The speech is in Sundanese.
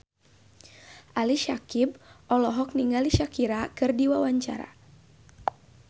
Ali Syakieb olohok ningali Shakira keur diwawancara